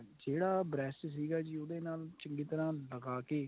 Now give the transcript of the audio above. ਜਿਹੜਾ brush ਸੀਗਾ ਜੀ ਉਹਦੇ ਨਾਲ ਚੰਗੀ ਤਰ੍ਹਾਂ ਲਗਾ ਕੇ